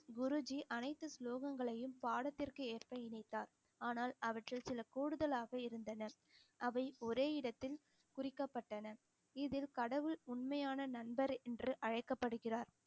குருஜி அனைத்து ஸ்லோகங்களையும் பாடத்திற்கு ஏற்ப இணைத்தார் ஆனால் அவற்றில் சில கூடுதலாக இருந்தனர் அவை ஒரே இடத்தில் குறிக்கப்பட்டன இதில் கடவுள் உண்மையான நண்பர் என்று அழைக்கப்படுகிறார்